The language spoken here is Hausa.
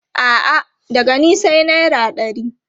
A'a, daga ni sai naira ɗari.